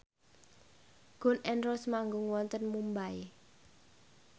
Gun n Roses manggung wonten Mumbai